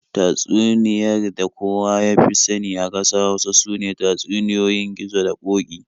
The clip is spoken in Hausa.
Tatsuniyar da kowa ya fi sani a ƙasar Hausa sune tatsuniyoyin Gizo da Ƙoki.